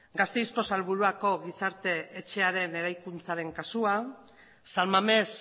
gasteizko salburuako gizarte etxearen eraikuntzaren kasua san mamés